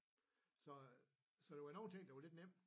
Så øh så der var nogle ting der var lidt nem